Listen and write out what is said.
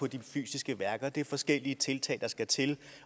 de fysiske værker det er forskellige tiltag der skal til